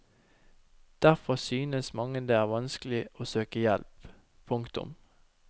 Derfor synes mange det er vanskelig å søke hjelp. punktum